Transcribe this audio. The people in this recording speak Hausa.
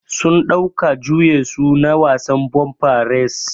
Sun ɗauka juye su na wasan bumper race.